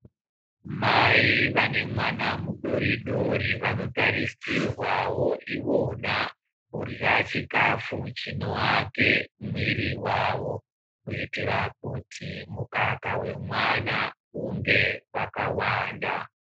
Mai vane mwana mudori dori vanotarisirwawo ivona kurya chikafu chinovake mwiri vavo kuitira kuti mukaka wemwana unge kwakawanda.